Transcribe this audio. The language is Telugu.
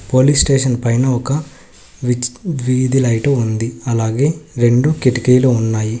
పోలీస్ స్టేషన్ పైన ఒక వీధి లైటు ఉంది అలాగే రెండు కిటికీలు ఉన్నాయి.